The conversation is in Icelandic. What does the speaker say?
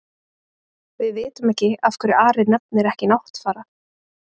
Við vitum ekki af hverju Ari nefnir ekki Náttfara.